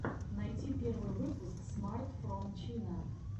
найти первый выпуск смарт фром чина